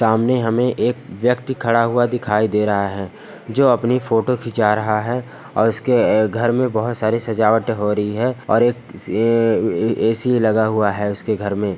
सामने हमें एक व्यक्ति खड़ा हुआ दिखाई दे रहा है जो अपनी फोटो खिंचा रहा है और इसके अ घर में बहुत सारी सजावट हो रही है और एक ए ए ऐसी लगा हुआ है उसके घर में।